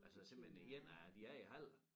Altså simpelthen 1 af de er i æ hal